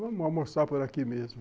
Vamos almoçar por aqui mesmo.